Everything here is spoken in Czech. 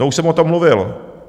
No už jsem o tom mluvil.